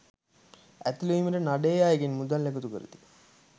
ඇතුළුවීමට නඩයේ අයගෙන් මුදල් එකතු කරති.